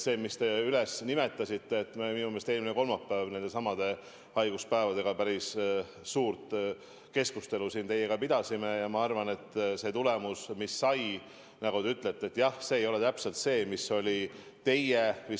Nagu te nimetasite, me pidasime eelmine kolmapäev nendesamade haiguspäevade üle päris pika keskustelu teiega maha ja ma arvan, et see tulemus, mis sai, nagu te ütlete, jah, ei ole täpselt see, mis oli teie soov ja mõte.